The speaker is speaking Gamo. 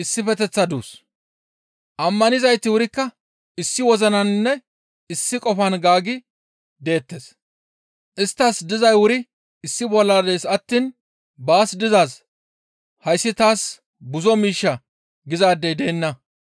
Ammanizayti wurikka issi wozinaninne issi qofan gaaggi deettes. Isttas dizay wuri issi bolla dees attiin baas dizaaz, «Hayssi taas buzo miishsha» gizaadey deenna.